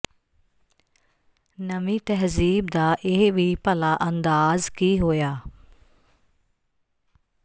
ਨਵੀਂ ਤਹਿਜ਼ੀਬ ਦਾ ਇਹ ਵੀ ਭਲਾ ਅੰਦਾਜ਼ ਕੀ ਹੋਇਆ